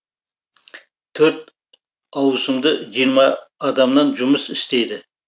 төрт ауысымды жиырма адамнан жұмыс істейді